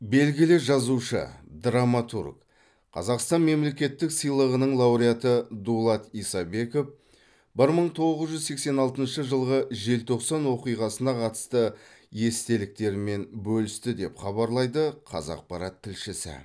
белгілі жазушы драматург қазақстан мемлекеттік сыйлығының лауреаты дулат исабеков бір мың тоғыз жүз сексен алтыншы жылғы желтоқсан оқиғасына қатысты естеліктерімен бөлісті деп хабарлайды қазақпарат тілшісі